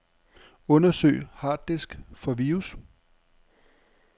Undersøg harddisk for virus.